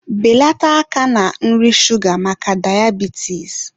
Beleta aka na nri shuga maka dayabitis!